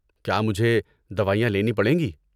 کیا مجھے دوائیاں لینی پڑیں گی ؟